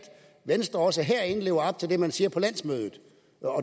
venstre også herinde lever op til det man siger på landsmødet